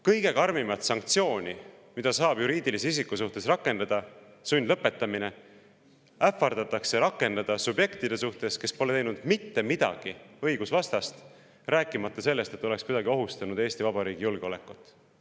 Kõige karmimat sanktsiooni, mida saab juriidilise isiku suhtes rakendada, sundlõpetamist, ähvardatakse rakendada subjektide suhtes, kes pole teinud mitte midagi õigusvastast, rääkimata sellest, et nad oleks kuidagi ohustanud Eesti Vabariigi julgeolekut.